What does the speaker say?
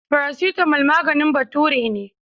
Farasitamol maganin bature ne.